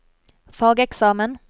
fageksamen